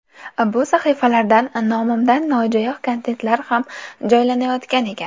Bu sahifalardan nomimdan nojo‘ya kontentlar ham joylanayotgan ekan.